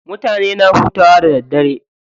Mutane na hutawa da daddare.